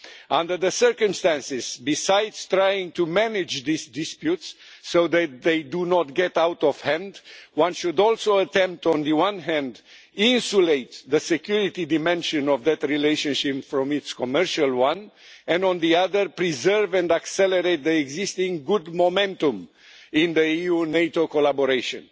Under the circumstances, besides trying to manage these disputes so that they do not get out of hand, one should also attempt on the one hand to insulate the security dimension of that relationship from its commercial one, and on the other, preserve and accelerate the existing good momentum in the EU NATO collaboration.